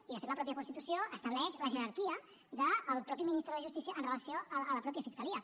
i de fet la mateixa constitució estableix la jerarquia del mateix ministre de justícia amb relació a la mateixa fiscalia